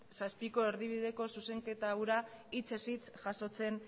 zazpiko erdibideko zuzenketa hura hitzez hitz jasotzen